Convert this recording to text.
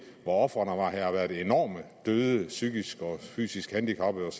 hvor ofrene har været enorme med døde og og psykisk og fysisk handicappede